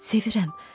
Sevirəm.